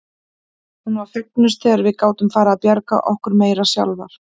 Hún var fegnust þegar við gátum farið að bjarga okkur meira sjálfar.